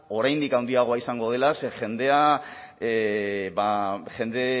oraindik handiagoa izango dela ze jendea ba jende